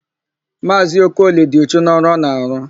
Maazị Okoli dị uchu n'ọrụ ọ na-arụ.